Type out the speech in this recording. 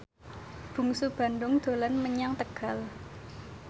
Bungsu Bandung dolan menyang Tegal